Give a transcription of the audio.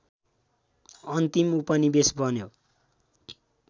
अन्तिम उपनिवेश बन्यो